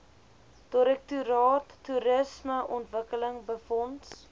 direktoraat toerismeontwikkeling befonds